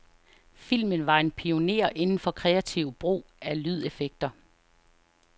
Filmen var en pioner inden for kreativ brug af lydeffekter.